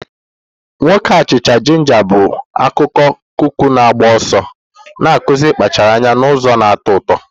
Nwoke achicha-jinja bụ akụkọ kuki na-agba ọsọ, na-akụzi ịkpachara anya n'ụzọ na-atọ ụtọ.